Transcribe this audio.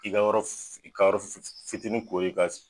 I ka yɔrɔ fi fi fitinin kori i ka